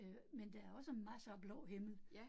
Øh men der er også masser af blå himmel